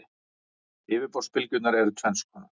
Yfirborðsbylgjurnar eru tvenns konar.